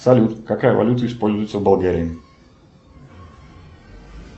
салют какая валюта используется в болгарии